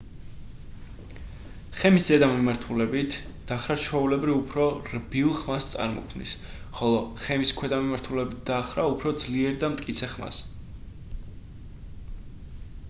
ხემის ზედა მიმართულებით დახრა ჩვეულებრივ უფრო რბილ ხმას წარმოქმნის ხოლო ხემის ქვედა მიმართულებით დახრა უფრო ძლიერ და მტკიცე ხმას